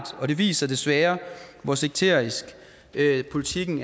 og det viser desværre hvor sekterisk politikken